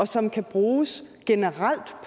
som kan bruges generelt